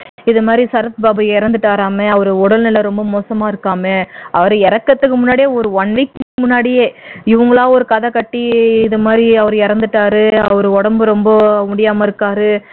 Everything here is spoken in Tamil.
இந்த மாதிரி சரத் பாபு இறந்துட்டாராமே அவருக்கு உடல்நிலை ரொம்ப மோசமா இருக்காமே அவர் இறக்கறதுக்கு முன்னாடியே ஒர one week முன்னாடியே இவங்களா ஒரு கதை கட்டி இது மாதிரி அவர் இறந்துட்டாரு அவர் உடம்பு ரொம்ப முடியாம இருக்காரு